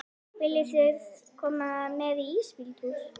Viljiði koma með í ísbíltúr?